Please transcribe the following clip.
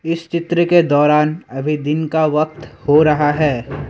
इस चित्र के दौरान अभी दिन का वक्त हो रहा है।